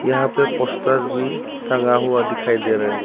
यहां पे पोस्टर भी टंगा हुआ दिखाई दे रहा है।